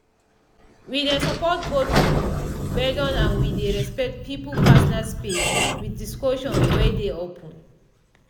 we dey support both group gbedu and we dey respect people personal space with discussion wey dey open